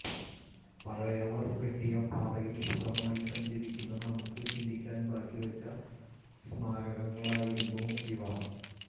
പഴയവർ വെട്ടിയ പാതയിൽ സുഖമായി സഞ്ചരിക്കുന്ന നമുക്ക് ചിന്തിക്കാൻ ബാക്കിവെച്ച സ്മാരകങ്ങളായിരിക്കും ഇവ